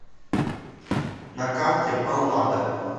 на карте паллада